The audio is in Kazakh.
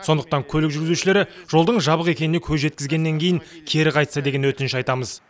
сондықтан көлік жүргізушілері жолдың жабық екеніне көз жеткізгеннен кейін кері қайтса деген өтініш айтамыз